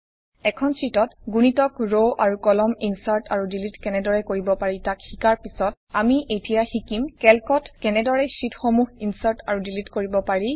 এখন শ্বিটত গুণিতক ৰ আৰু কলম ইনচাৰ্ট আৰু ডিলিট কনেদৰে কৰিব পাৰি তাক শিকাৰ পিছত আমি এতিয়া শিকিম কেল্কত কেনেদৰে শ্বিটসমূহ ইনচাৰ্ট আৰু ডিলিট কৰিব পাৰি